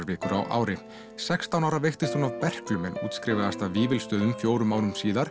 vikur á ári sextán ára veiktist hún af berklum en útskrifaðist af Vífilsstöðum fjórum árum síðar